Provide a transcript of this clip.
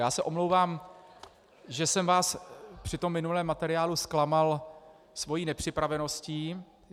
Já se omlouvám, že jsem vás při tom minulém materiálu zklamal svou nepřipraveností.